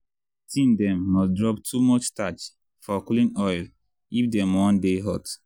teen dem must drop too much starch for clean oil if dem wan dey hot.